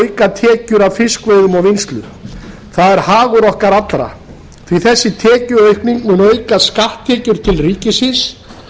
auka tekjur af fiskveiðum og vinnslu það er hagur okkar allra því að þessi tekjuaukning mun auka skatttekjur til ríkisins